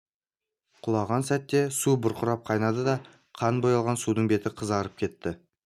құлаған сәтте су бұрқылдап қайнады да қан бояған судың беті қызарып кетті